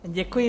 Děkuji.